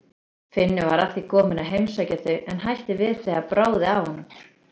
Finnur var að því kominn að heimsækja þau en hætti við þegar bráði af honum.